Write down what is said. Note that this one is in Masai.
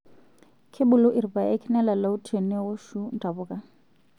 Kebulu irpaek nelalau te newoshu ntapuka.